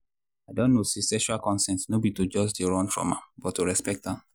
i don know say sexual consent no be to just they run from am but to respect am.